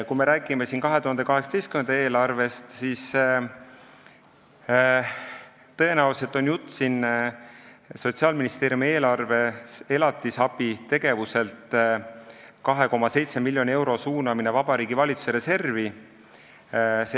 Kui me räägime 2018. aasta eelarvest, siis tõenäoliselt käib jutt Sotsiaalministeeriumi eelarve elatisabi tegevuselt 2,7 miljoni euro suunamisest Vabariigi Valitsuse reservi.